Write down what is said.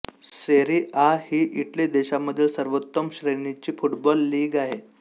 सेरी A ही Italy देशामधील सर्वोत्तम श्रेणीची फुटबॉल लीग आहे